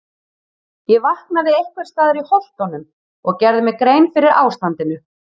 Ég vaknaði einhvers staðar í Holtunum og gerði mér grein fyrir ástandinu.